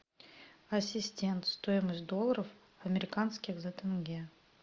ассистент стоимость долларов американских за тенге